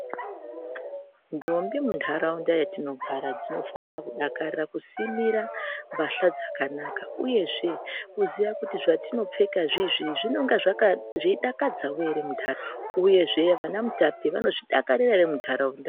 Ndombi muntharaunda yatinogara dzinofanira kudakarira kusimira mbahla dzakanaka uyezve kuziya kuti zvatinopfeka izvizvi zvinenge zveidakadzao ere muntharaunda uyezve vana mutape vanozvidakarira ere muntharaunda.